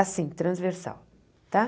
Assim, transversal, tá?